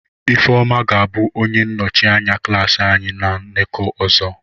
Ifeoma ga-abụ onye nnọchi anya klaasị anyị na nnọkọ ọzọ.